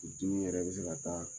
Furu dimi yɛrɛ bɛ se ka taa